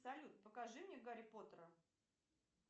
салют покажи мне гарри поттера